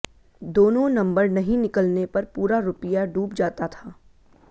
दोनों नंबर नहीं निकलने पर पूरा रुपया डूब जाता था